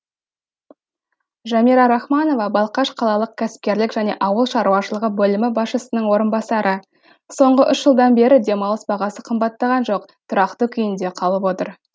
жамира рахманова балқаш қалалық кәсіпкерлік және ауыл шаруашылығы бөлімі басшысының орынбасары соңғы үш жылдан бері демалыс бағасы қымбаттаған жоқ тұрақты күйінде қалып отыр